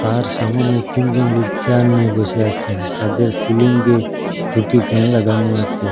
তার সামোনে তিনজন লোক চেয়ার নিয়ে বসে আছেন তাদের সিলিঙ্গে দুটি ফ্যান লাগানো আছে।